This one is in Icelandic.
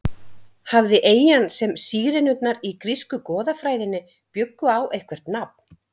Hafði eyjan sem Sírenurnar í grísku goðafræðinni bjuggu á eitthvert nafn?